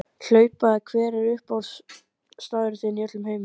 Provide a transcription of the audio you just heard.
Hlaupa Hver er uppáhaldsstaðurinn þinn í öllum heiminum?